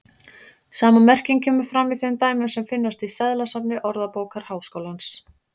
Sama merking kemur fram í þeim dæmum sem finnast í seðlasafni Orðabókar Háskólans.